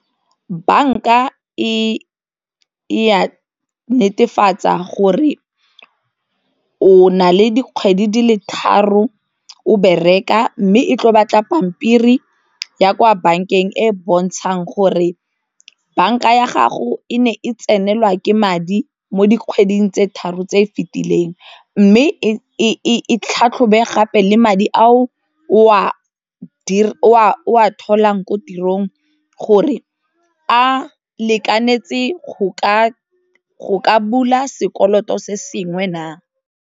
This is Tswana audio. Banka e a netefatsa gore o na le dikgwedi di le tharo o bereka mme e tlo batla pampiri ya kwa bankeng e e bontshang gore banka ya gago e ne e tsenelwa ke madi mo dikgweding tse tharo tse e fitileng, mme e tlhatlhobe gape le madi a o a tholang ko tirong gore a lekanetse go ka bula sekoloto se sengwe na.